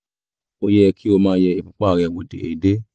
ó yẹ kí o máa yẹ ìfúnpá rẹ wò déédéé